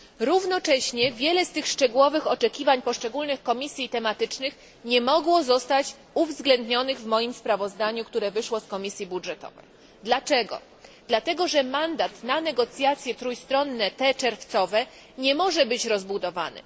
Równocześnie wiele z tych szczegółowych oczekiwań poszczególnych komisji tematycznych nie mogło zostać uwzględnionych w moim sprawozdaniu, które wyszło z Komisji Budżetowej, dlatego że mandat na negocjacje trójstronne nie może być rozbudowany.